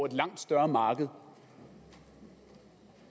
et langt større marked